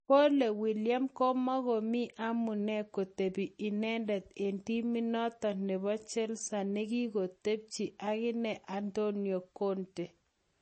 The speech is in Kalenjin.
Kole Willian komukomi amune kotepi inendet eng' timit notok nebo chelsea ngotkokotepche agine Antonio Conte